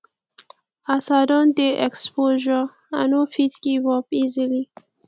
as i don dey exposure i no fit give up easily